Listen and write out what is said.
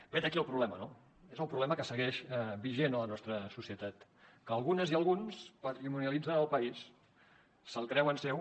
vet aquí el problema no és el problema que segueix vigent a la nostra societat que algunes i alguns patrimonialitzen el país se’l creuen seu